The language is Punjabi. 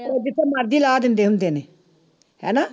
ਉਹ ਜਿੱਥੇ ਮਰਜ਼ੀ ਲਾ ਦਿੰਦੇ ਹੁੰਦੇ ਨੇ ਹਨਾ